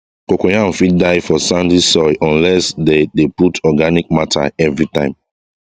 cocoyam fit die for sandy soil unless dey de put organic matter everytime